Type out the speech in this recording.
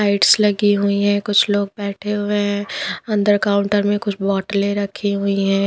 Lights लगी हुई है कुछ लोग बैठे हुए हैं अंदर काउंटर में कुछ बोटलें रखी हुई हैं।